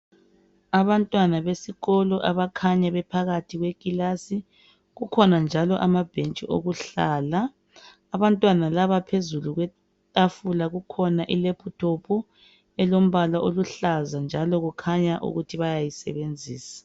Abantwana besikolo bakhanya bephakathi kwekilasi. Kukhona amabhentshi okuhlala. Phezulu kwetafula kulelephuthophu eluhlaza abayisebenzisayo.